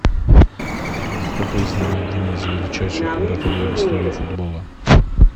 афина кто признан одним из величайших вратарей в истории футбола